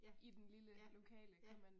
Ja. Ja. Ja